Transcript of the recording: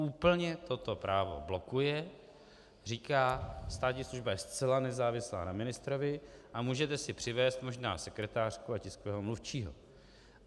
Úplně toto právo blokuje, říká - státní služba je zcela nezávislá na ministrovi a můžete si přivést možná sekretářku a tiskového mluvčího.